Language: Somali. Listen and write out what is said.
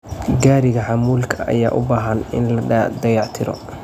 Gariiga Xamuulka ayaa u baahan in la dayactiro.